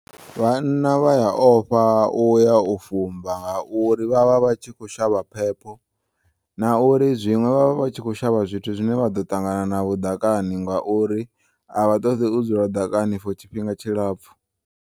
Vhanna vhaya ofha uya ufumba ngauri vha vha vha tshi khou shavha phepho, nauri zwiṅwe vha vha vha tshi khou shavha zwithu zwine vhaḓo ṱangana navho ḓakani ngauri avhaṱoḓi udzula ḓakani for tshifhinga tshilapfu.